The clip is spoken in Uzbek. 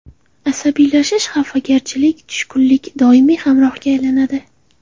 Asabiylashish, xafagarchilik, tushkunlik doimiy hamrohga aylanadi.